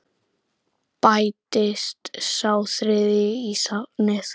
Bætist sá þriðji í safnið?